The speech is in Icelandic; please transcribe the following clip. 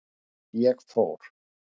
Ég fór.